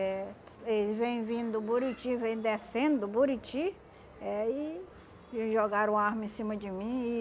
Eh eles vêm vindo do Buriti, vêm descendo do Buriti, eh e jogaram arma em cima de mim e